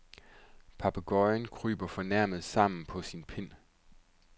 Papegøjen kryber fornærmet sammen på sin pind.